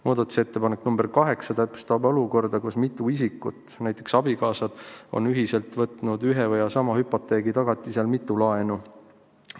Muudatusettepanek nr 8 reguleerib täpsemalt olukorda, kus mitu isikut, näiteks abikaasad, on ühiselt võtnud ühe ja sama hüpoteegi tagatisel mitu laenu.